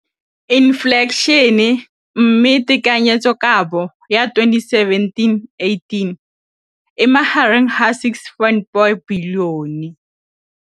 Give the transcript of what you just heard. Infleišene, mme tekanyetsokabo ya 2017, 18, e magareng ga R6.4 bilione.